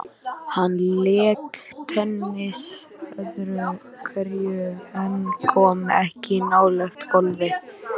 Hann lék tennis öðru hverju en kom ekki nálægt golfi.